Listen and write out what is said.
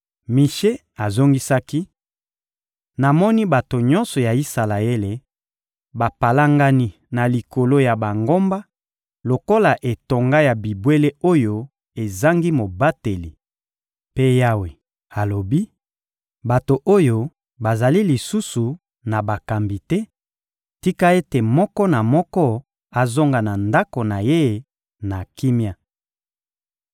Mishe azongisaki: — Namoni bato nyonso ya Isalaele bapalangani na likolo ya bangomba lokola etonga ya bibwele oyo ezangi mobateli. Mpe Yawe alobi: «Bato oyo bazali lisusu na bakambi te; tika ete moko na moko azonga na ndako na ye na kimia!»